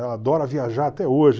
Ela adora viajar até hoje.